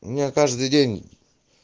у меня каждый день